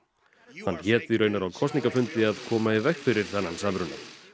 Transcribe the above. hann hét því raunar á kosningafundi að koma í veg fyrir þennan samruna